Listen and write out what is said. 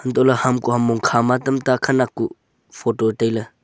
untohley hamkua mong khama tam ta khenak kuh photo tailey.